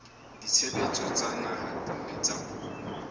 ditshebeletso tsa naha tsa puo